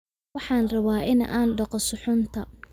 Waxaan rabaa in aan dhaqo suxuunta